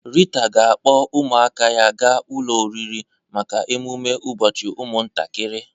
Rita ga-akpọ ụmụaka ya ga ụlọ oriri maka emume ụbọchị ụmụntakịrị.